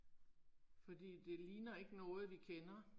Fordi det ligner ikke noget vi kender